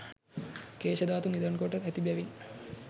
කේශධාතු නිධන් කොට ඇති බැවින්